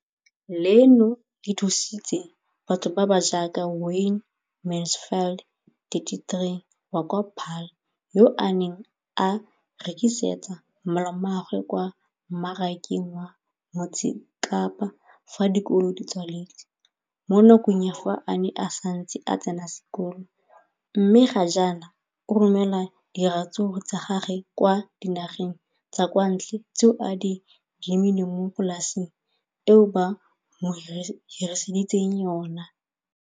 Leno le thusitse batho ba ba jaaka Wayne Mansfield, 33, wa kwa Paarl, yo a neng a rekisetsa malomagwe kwa Marakeng wa Motsekapa fa dikolo di tswaletse, mo nakong ya fa a ne a santse a tsena sekolo, mme ga jaanong o romela diratsuru tsa gagwe kwa dinageng tsa kwa ntle tseo a di lemileng mo polaseng eo ba mo hiriseditseng yona.